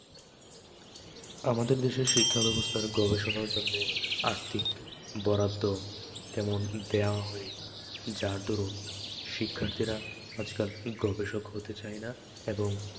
আমাদের দেশের শিক্ষাব্যবস্থার গবেষণার জন্যে আর্থিক বরাদ্দ তেমন দেওয়া হয় না, যার দারুণ শিক্ষার্থীরা আজকাল গবেষক হতে চায় না এবং